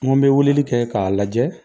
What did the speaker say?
N ko n bɛ weleli kɛ k'a lajɛ